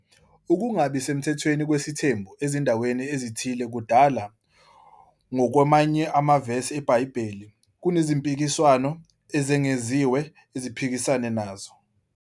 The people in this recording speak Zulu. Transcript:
Ukungabi semthethweni kwesithembu ezindaweni ezithile kudala, ngokwamanye amavesi eBhayibheli, kunezimpikiswano ezengeziwe eziphikisana naso.